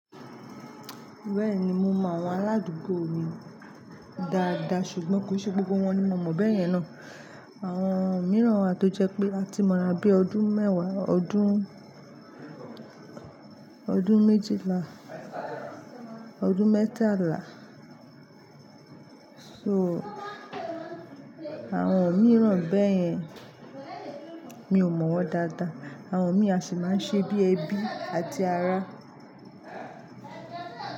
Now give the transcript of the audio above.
Bẹ́ẹ̀ni mo mọ àwọn aládùúgbò mi dáadáa ṣùgbọ́n kò ṣe gbogbo wọn ni mo mọ̀ bẹ́yẹn ná. Àwọn mìíràn wa to jẹ́ pé áti mọra bí ọdún mẹ́wàá, ọdún, ọdún méjìlá, ọdún mẹ́tàlá. So, àwọn mìíràn bẹ́yẹn mi ò mọ̀ wọ́n dáadáa. Àwọn mi a sì máa ń ṣe bí ẹbí àti ará.